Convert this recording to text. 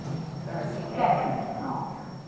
Então era assim, era muito complicado.